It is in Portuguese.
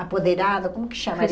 apoderado, como que chamaria?